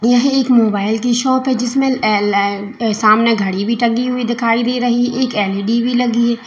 यह एक मोबाइल की शॉप है जिसमें एलेल सामने घड़ी भी टंगी हुई दिखाई दे रही एक एल_ई_डी भी लगी है।